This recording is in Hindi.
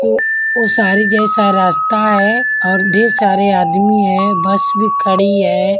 वो वो सारी जैसा रास्ता है और ढेर सारे आदमी है बस भी खड़ी है।